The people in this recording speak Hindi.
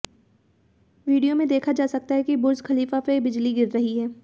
वीडियो में देखा जा सकता है कि बुर्ज खलीफा पर बिजली गिर रही है